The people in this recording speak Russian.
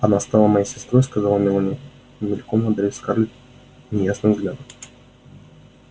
она стала моей сестрой сказала мелани мельком одарив скарлетт неясным взглядом